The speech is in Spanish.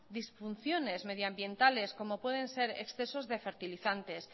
disfunciones medioambientales como pueden ser excesos de fertilizantes